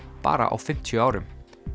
bara á fimmtíu árum